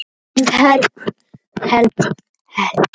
Karlmannsnafnið Mekkinó er myndað af kvenmannsnafninu Mekkín.